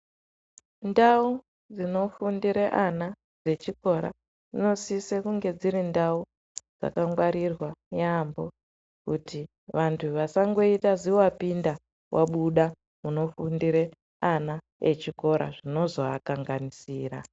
Ndau dzinofundire ana dzechikora, dzinosise kunge dziri ndau dzakangwarirwa yaampho, kuti vantu vasangoita ziwapinda wabuda munofundire ana echikora, zvinozoakanganisira.